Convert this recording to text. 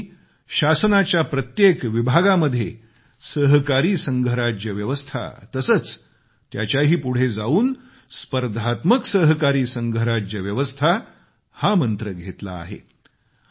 आज आम्ही शासनाच्या प्रत्येक विभागामध्ये सहकारी संघराज्य व्यवस्था तसेच त्याच्याही पुढे जाऊन स्पर्धात्मक सहकारी संघराज्य व्यवस्था हा मंत्र घेतला आहे